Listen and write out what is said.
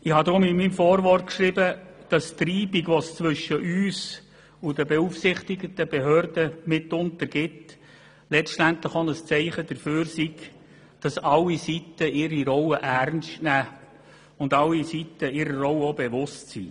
In meinem Vorwort habe ich denn auch geschrieben, die Reibung, die zwischen uns und den beaufsichtigten Behörden mitunter entsteht, sei letztendlich auch ein Zeichen dafür, dass alle Seiten ihre Rollen ernst nehmen und sich derer auch bewusst sind.